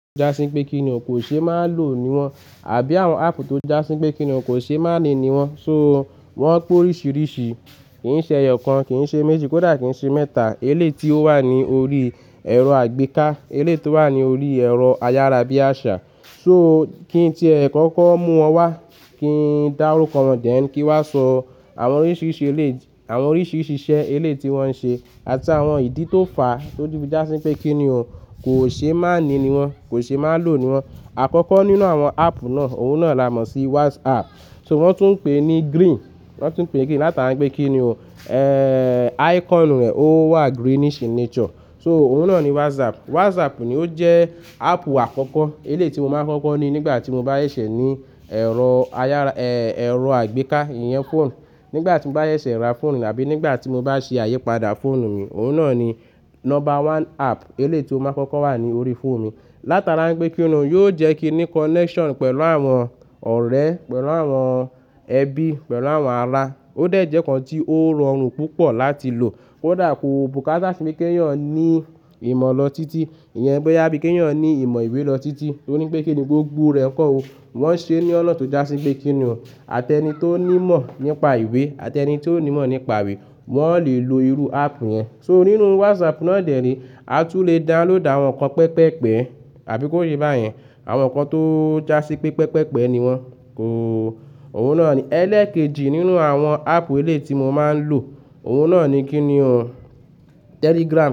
Jásín pé kí ni òun kò ṣe máa lò ní wọn àbí àwọn app tó já sí pé kí ni òun kò ṣe máa ní wọn. So wọ́n pé oríṣiríṣi, kì í ṣe ẹyọ kan, kì í ṣe méjì, kò dà kí í ṣe mẹ́ta. Eleyi tí ó wà ní orí ẹ̀rọ àgbéká, eléyi tí ó wà ní orí ẹ̀rọ ayárabíàṣá. So kí i tí ẹ̀ kọ́kọ́ mú wọn wá, kí n dárúkọ wọn, then kín wá sọ àwọn oríṣiríṣi eléyi, àwọn oríṣiríṣi iṣẹ́ eléyi tí wọ́n ń ṣe àti àwọn ìdí tó fàá tí ó fun já sí pé kí ni òun kò ṣe máa ni ní wọn, kò ṣe máa lò ní wọn. Àkọ́kọ́ nínú àwọn app náà, òun náà la mọ̀ sí WhatsApp. So wọ́n tún ń pè é ní green, wọ́n tún ń pè é green látara pé kí ni òun, icon rẹ̀ ó wà greenish in nature. So òun náà ni WhatsApp. WhatsApp ni ó jẹ́ app àkọ́kọ́ eléyi tí mo máa ń kọ́kọ́ ní nígbà tí mo bá ṣẹ̀ṣẹ̀ ní ẹ̀rọ ayára, ẹ̀rọ àgbéká, ìyẹn phone. Nígbà tí mo bá ṣẹ̀ṣẹ̀ ra phone àbí nígbà tí mo bá ṣe ayípadà phone mi, òun náà ni number one app eléyi tí ó máa ń kọ́kọ́ wà ní orí phone mi. Látara ipé kíni yóò jẹ́ kí n ní connection pẹ̀lú àwọn ọ̀rẹ́, pẹ̀lú àwọn ẹbí, pẹ̀lú àwọn ará. Ó dẹ̀ jẹ́ nkan tí ó rọrùn púpọ̀ láti lò. Kò dà kó bùkátá sí bí kẹ́yọ́n ní ìmọ̀ lọ títí, ìyẹn bóyá bí kẹ́yọ́n ní ìmọ̀ ìwé lọ títí. Toripé kí ni gbogbo rẹ̀ ń kọ́ o. Wọ́n ń ṣe é ní ọ̀nà tó já sí pé kí ni o. Àti ẹni tó ní ìmọ̀ nípa ìwé àti ẹni tó ní ìmọ̀ nípa ìwé, wọ́n le lo irú app yẹn. So nínú WhatsApp náà dẹ̀re, a tún le download àwọn ǹkan pẹpẹ́pẹ, àbí kó ye báyẹn. Àwọn ǹkan tó já sí pé pẹpẹ́pẹ ni wọ́n. Ko, òun náà ni. Ẹlẹ́ẹ̀kejì nínú àwọn app eléyi tí mo máa ń lò, òun náà ni kí ni o, Telegram.